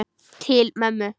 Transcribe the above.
Til mömmu.